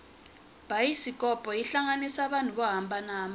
bayisikopo yi hlanganisa vanhu vo hambanana